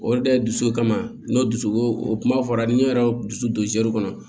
Olu de ye dusu kama n'o dusu o kuma fɔra ni n yɛrɛ y'o dusu don kɔnɔ